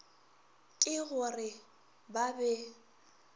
ke go re ba be